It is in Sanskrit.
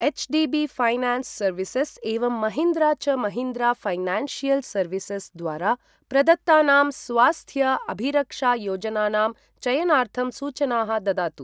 एच्.डि.बि. फैनान्स् सर्विसेस् एवं महीन्द्रा च महीन्द्रा ऴैनन्शियल् सर्विसस् द्वारा प्रदत्तानां स्वास्थ्य अभिरक्षायोजनानां चयनार्थं सूचनाः ददातु।